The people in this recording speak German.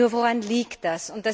Nur Woran liegt das?